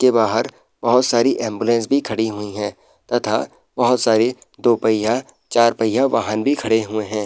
के बाहर बहोत सारी एम्बुलेंस भी खड़ी हुई हैं तथा बहोत सारी दो पहिया चार पहिया वाहन भी खड़े हुए है।